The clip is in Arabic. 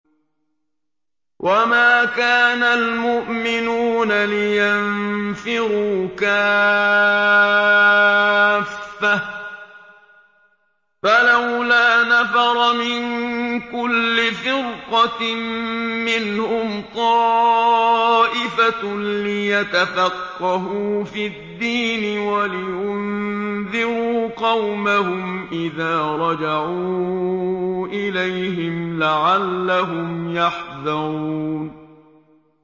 ۞ وَمَا كَانَ الْمُؤْمِنُونَ لِيَنفِرُوا كَافَّةً ۚ فَلَوْلَا نَفَرَ مِن كُلِّ فِرْقَةٍ مِّنْهُمْ طَائِفَةٌ لِّيَتَفَقَّهُوا فِي الدِّينِ وَلِيُنذِرُوا قَوْمَهُمْ إِذَا رَجَعُوا إِلَيْهِمْ لَعَلَّهُمْ يَحْذَرُونَ